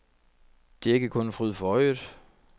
Det er ikke kun en fryd for øjet.